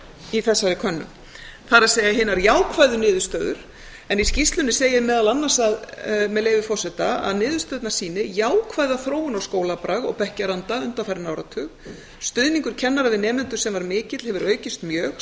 í þessari könnun það er hinar jákvæðu niðurstöður en í skýrslunni segir meðal annars með leyfi forseta niðurstöðurnar sýni jákvæða þróun á skólabrag og bekkjaranda undanfarinn áratug stuðningur kennara við nemendur sem var mikill hefur aukist mjög